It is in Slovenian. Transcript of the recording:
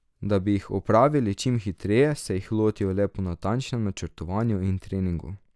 Da bi jih opravili čim hitreje, se jih lotijo le po natančnem načrtovanju in treningu.